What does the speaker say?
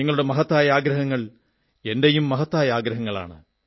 നിങ്ങളുടെ മഹത്തായ ആഗ്രഹങ്ങൾ എന്റെയും മഹത്തായ ആഗ്രഹങ്ങളാണ്